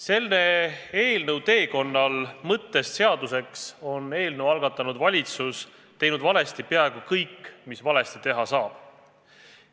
Selle eelnõu teekonnal mõttest seaduseks on eelnõu algatanud valitsus teinud valesti peaaegu kõik, mis valesti teha saab.